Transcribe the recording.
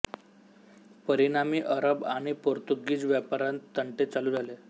परिणामी अरब आणि पोर्तुगीज व्यापाऱ्यांत तंटे चालू झाले